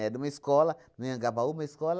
Era uma escola, no Anhangabaú, uma escola,